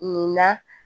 Nin na